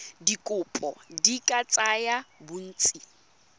dikopo di ka tsaya bontsi